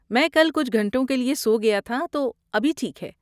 میں کل کچھ گھنٹوں کے لیے سو گیا تھا، تو ابھی ٹھیک ہے۔